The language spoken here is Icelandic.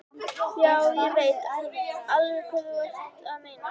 Já, ég veit alveg hvað þú ert að meina.